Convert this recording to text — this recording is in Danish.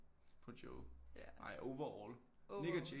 På Joe ej overall Nik og Jay